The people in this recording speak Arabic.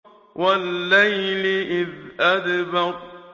وَاللَّيْلِ إِذْ أَدْبَرَ